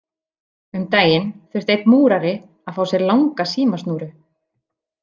Um daginn þurfti einn Múrari að fá sér langa símasnúru.